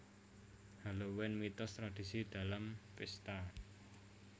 Halloween Mitos Tradisi dan Pesta